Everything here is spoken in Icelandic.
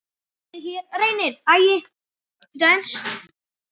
Af honum Bóasi?